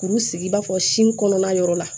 Kuru sigi i b'a fɔ sin kɔnɔna yɔrɔ la